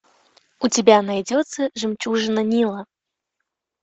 у тебя найдется жемчужина нила